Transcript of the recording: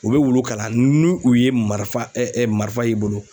U bɛ wulu kala ni u ye marifa marifa y'i bolo